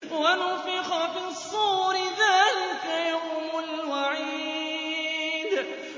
وَنُفِخَ فِي الصُّورِ ۚ ذَٰلِكَ يَوْمُ الْوَعِيدِ